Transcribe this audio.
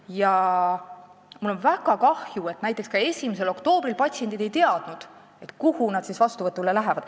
Ja mul on väga kahju, et patsiendid ei teadnud näiteks 1. oktoobril, kuhu nad vastuvõtule minema peavad.